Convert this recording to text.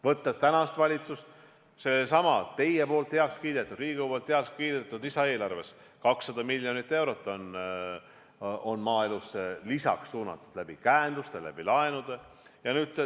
Võtame tänase valitsuse: sellessamas teie, Riigikogu heakskiidetud lisaeelarves on 200 miljonit eurot lisaks maaelusse suunatud käenduste, laenude kaudu.